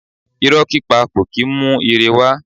Irọ̀ pípa kò kì í mú ire wá.